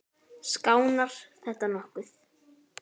Skánar þetta nokkuð?